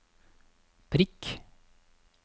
prikk